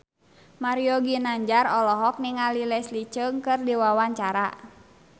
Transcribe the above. Mario Ginanjar olohok ningali Leslie Cheung keur diwawancara